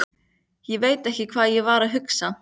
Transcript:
Ég veit ekki hvað ég var að hugsa.